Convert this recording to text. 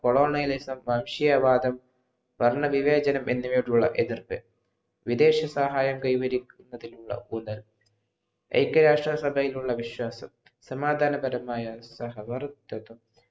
കൊളോനയിലെ വംശീയ വാദം വർണ്ണ വിവേചന എന്നിവയുള്ള എതിർപ്പ് വിദേശ സഹായം കൈവരിക്കുന്നതിലുള്ള ഊനൽ ഐക്യ രാഷ്ട്ര സഭയിലുള്ള വിശ്വാസം സമാദാ